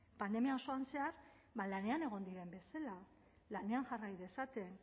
pandemia osoan zehar lanean egon diren bezala lanean jarrai dezaten